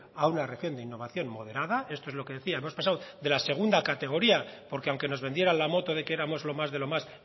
a una región de innovación moderada esto es lo que decía hemos pasado de la segunda categoría porque aunque nos vendieran la moto de que éramos lo más de lo más